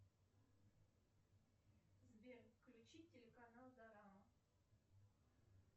сбер включи телеканал дорама